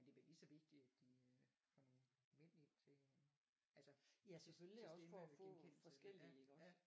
Men det bliver ligeså vigtigt at de øh får mænd ind til altså til stemmegenkendelse ja ja